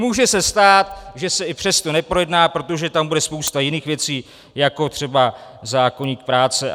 Může se stát, že se i přesto neprojedná, protože tam bude spousta jiných věcí, jako třeba zákoník práce.